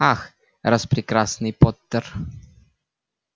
ах распрекрасный поттер